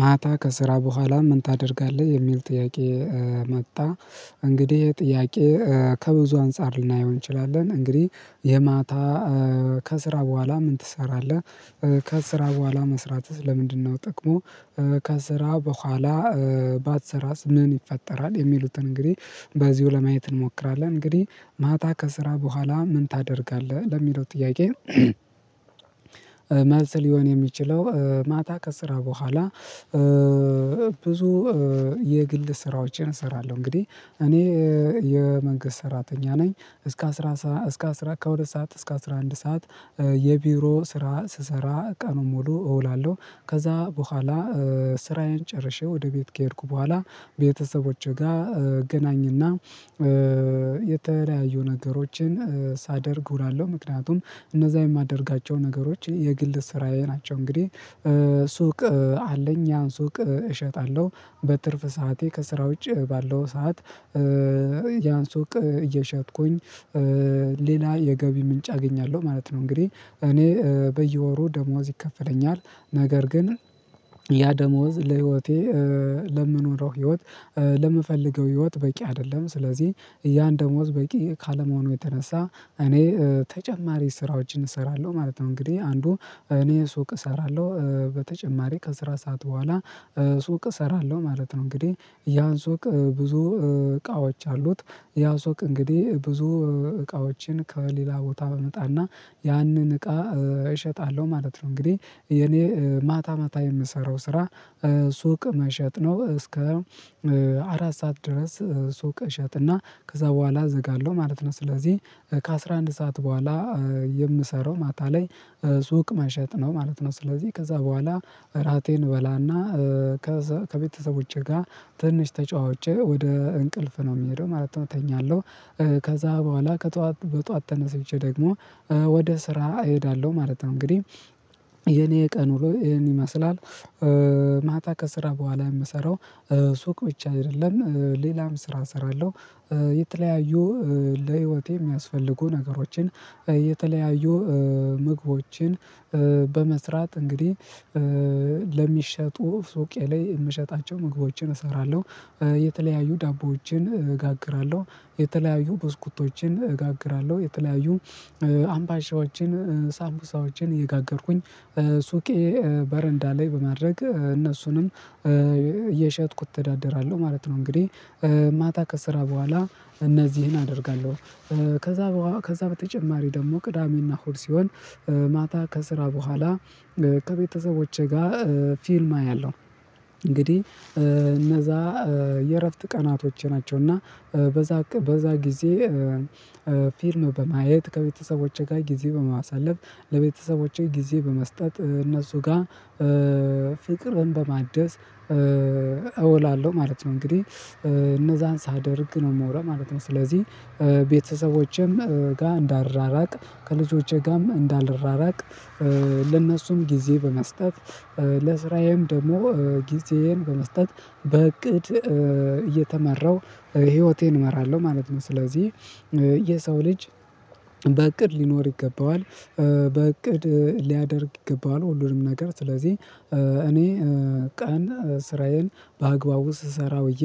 ማታ ከስራ በኋላ ምን ታደርጋለህ የሚል ጥያቄ መጣ እንግዲህ ይሄ ጥያቄ ከብዙ አንፃር ልናየው እንችላለን። እንግዲህ የማታ ከስራ በኋላ ምን ትሰራለህ? ከስራ በኋላ መስራትህ ለምንድነው ጥቅሙ። ከስራ በኋላ ባትሰራስ ምን ይፈጠራል? የሚሉትን እንግዲህ በዚሁ ለማየት እንሞክራለን። እንግዲህ ማታ ከስራ በኋላ ምን ታደርጋለህ ለሚለው ጥያቄ? መልስ ሊሆን የሚችለው ማታ ከስራ በኋላ ብዙ የግል ስራዎችን እሰራለሁ። እንግዲህ እኔ የመንግስት ሰራተኛ ነኝ። እስከ አስራ እስከ አስራ ከሁለት ሰዓት እስከ አስራ አንድ ሰዓት የቢሮ ስራ ስሰራ ቀኑን ሙሉ እውላለሁ። ከዛ በኋላ ስራዬን ጨርሼ ወደ ቤት ከሄድኩ በኋላ ቤተሰቦቼ ጋር እገናኝና የተለያዩ ነገሮችን ሳደርግ እውላለሁ። ምክንያቱም እነዛ የማደርጋቸው ነገሮች የግል ስራዬ ናቸው። እንግዲህ ሱቅ አለኝ ያን ሱቅ እሸጣለሁ። በትርፍ ሰዓቴ ከስራ ውጪ ባለው ሰዓት ያን ሱቅ እየሸጥኩኝ ሌላ የገቢ ምንጭ አገኛለሁ ማለት ነው። እንግዲህ እኔ በየወሩ ደሞዝ ይከፈለኛል ነገር ግን ያ ደሞዝ ለህይወቴ ለምኖረው ህይወት ለምፈልገው ህይወት በቂ አይደለም። ስለዚህ ያን ደሞዝ በቂ ካለመሆኑ የተነሳ እኔ ተጨማሪ ስራዎችን እሰራለሁ ማለት ነው። እንግዲህ አንዱ እኔ ሱቅ እሰራለሁ በተጨማሪ ከስራ ሰዓት በኋላ ሱቅ እሰራለሁ ማለት ነው። እንግዲህ ያ ሱቅ ብዙ እቃዎች አሉት ያ ሱቅ እንግዲህ ብዙ እቃዎችን ከሌላ ቦታ አመጣና ያንን እቃ እሸጣለሁ ማለት ነው። እንግዲህ የኔ ማታ ማታ የምሰራው ስራ ሱቅ መሸጥ ነው። እስከ አራት ሰዓት ድረስ ሱቅ እሸጥና እና ከዛ በኋላ እዘጋለሁ ማለት ነው። ስለዚህ ከአስራአንድ ሰዓት በኋላ የምሰራው ማታ ላይ ሱቅ መሸጥ ነው ማለት ነው። ስለዚህ ከዛ በኋላ እራቴን እበላና ከዛ ከቤተሰቦቼ ጋር ትንሽ ተጫውቼ ወደ እንቅልፍ ነው የምሄደው ማለት ነው እተኛለሁ። ከዛ በኋላ ከጧት በጧት ተነስቼ ደግሞ ወደ ስራ እሄዳለሁ ማለት ነው። እንግዲህ የኔ የቀኑ ዉሎ ይሄን ይመስላል። ማታ ከስራ በኋላ የምሰራው ሱቅ ብቻ አይደለም ሌላም ስራ እሰራለሁ። የተለያዩ ለህይወቴ የሚያስፈልጉ ነገሮችን የተለያዩ ምግቦችን በመስራት እንግዲህ ለሚሸጡ ሱቄ ላይ የምሸጣቸው ምግቦችን እሰራለሁ። የተለያዩ ዳቦዎችን እጋግራለሁ የተለያዩ ብስኩቶችን እጋግራለሁ የተለያዩ አምባሻዎችን ሳምቡሳዎችን እየጋገርኩኝ ሱቄ በረንዳ ላይ በማድረግ እነሱንም እየሸጥኩ እተዳደራለሁ ማለት ነው። እንግዲህ ማታ ከስራ በኋላ እነዚህን አደርጋለሁ። ከዛ ከዛ በተጨማሪ ደግሞ ቅዳሜና እሁድ ሲሆን ማታ ከስራ በኋላ ከቤተሰቦቼ ጋር ፊልም አያለሁ። እንግዲህ እነዛ የእረፍት ቀናቶች ናቸው። እና በዛ በዛ ጊዜ ፊልም በማየት ከቤተሰቦቼ ጋር ጊዜ በማሳለፍ ለቤተሰቦቼ ጊዜ በመስጠት እነሱ ጋር ፍቅርን በማደስ እዉላለሁ ማለት ነው እንግዲህ እነዛን ሳደርግ ነው የምወለው ማለት ነው። ስለዚህ ቤተሰቦቼም ጋር እንዳልራራቅ ከልጆቼ ጋርም እንዳልራራቅ ለእነሱም ጊዜ በመስጠት ለስራዬም ደግሞ ጊዜዬን በመስጠት በእቅድ እየተመራው ህይወቴን እመራለሁ ማለት ነው። ስለዚህ የሰው ልጅ በእቅድ ሊኖር ይገባዋል። በእቅድ ሊያደርግ ይገባዋል ሁሉንም ነገር ስለዚህ እኔ ቀን ስራዬን በአግባቡ ስሰራ ውዬ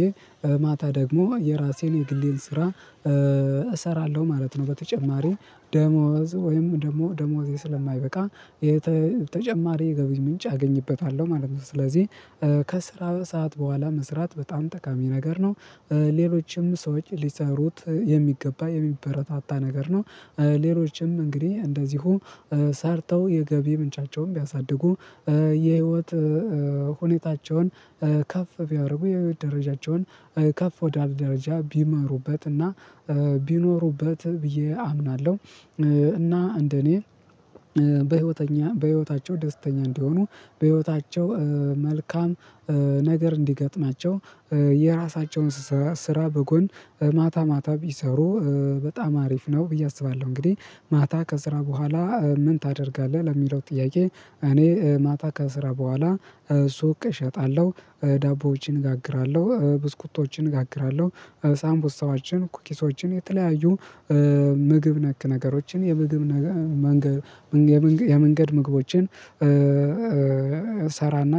ማታ ደግሞ የራሴን የግሌን ስራ እሰራለሁ ማለት ነው። በተጨማሪ ደሞዝ ወይም ደሞ ደሞዜ ስለማይበቃ የተጨማሪ የገቢ ምንጭ አገኝበታለሁ ማለት ነው። ስለዚህ ከስራም ሰዓት በኋላ መስራት በጣም ጠቃሚ ነገር ነው። ሌሎችም ሰዎች ሊሰሩት የሚገባ የሚበረታታ ነገር ነው። ሌሎችም እንግዲህ እንደዚሁ ሰርተው የገቢ ምንጫቸውን ቢያሳድጉ የህይወት ሁኔታቸውን ከፍ ቢያደርጉ የህይወት ደረጃቸውን ከፍ ወዳለ ደረጃ ቢመሩበትና ቢኖሩበት ብዬ አምናለሁ። እና እንደኔ በህይወተኛ በህይወታቸው ደስተኛ እንዲሆኑ በህይወታቸው መልካም ነገር እንዲገጥማቸው የራሳቸውን ስራ በጎን በማታ ማታ ቢሰሩ በጣም አሪፍ ነው ብዬ አስባለሁ። እንግዲህ ማታ ከስራ በኋላ ምን ታደርጋለህ? ለሚለው ጥያቄ እኔ ማታ ከስራ በኋላ ሱቅ እሸጣለሁ። ዳቦዎችን እጋግራለሁ ብስኩቶችን እጋግራለሁ። ሳምቡሳዎችን ኩኪሶችን የተለያዩ ምግብ ነክ ነገሮችን የምግብ ነገር መንገድ የመንገድ ምግቦችን ሰራና